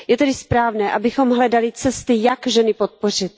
Je tedy správné, abychom hledali cesty, jak ženy podpořit.